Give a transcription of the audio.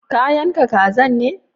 Ka yanka kazan ne?